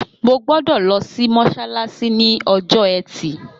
Mo gbọ́dọ̀ lọ sí mọ́sálásí ní ọjọ́ ẹtì